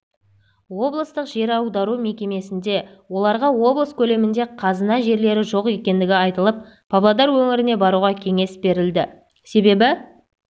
облыстық жер аудару мекемесінде оларға облыс көлемінде қазына жерлері жоқ екендігі айтылып павлодар өңіріне баруға кеңес берілді себебі